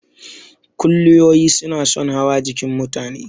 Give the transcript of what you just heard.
Kuliyoyi suna son hawa jikin mutane.